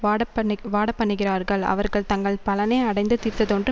வாடப்பண் வாடப்பண்ணுகிறார்கள் அவர்கள் தங்கள் பலனை அடைந்து தீர்ந்ததென்று